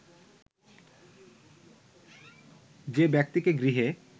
যে ব্যক্তিকে গৃহে